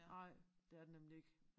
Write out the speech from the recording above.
Nej det er det nemlig ikke